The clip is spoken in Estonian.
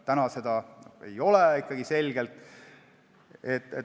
Praegu seda ikkagi ei ole.